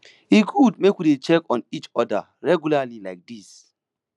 e good make we dey check on each oda regularly like dis